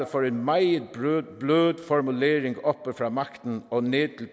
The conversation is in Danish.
for en meget blød formulering oppe fra magten og ned til